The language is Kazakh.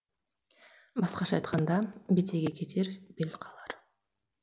басқаша айтқанда бетеге кетер бел қалар